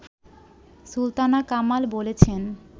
সুলতানা কামাল বলেছেন